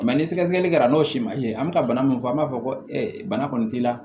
ni sɛgɛsɛgɛli kɛra n'o si ma ye an bɛ ka bana mun fɔ an b'a fɔ ko bana kɔni t'i la